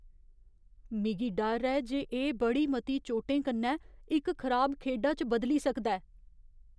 मिगी डर ऐ जे एह् बड़ी मती चोटें कन्नै इक खराब खेढा च बदली सकदा ऐ।